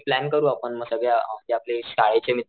plan करू म सगळे आपले आपले शाळेचे मित्र,